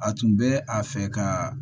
A tun bɛ a fɛ ka